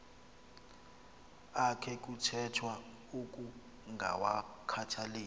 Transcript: akhe kuthethwa ukungawakhathaleli